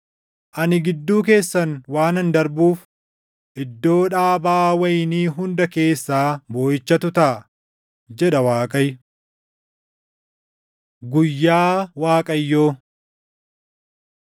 Ani gidduu keessan waanan darbuuf iddoo dhaabaa wayinii hunda keessaa booʼichatu taʼa” jedha Waaqayyo. Guyyaa Waaqayyoo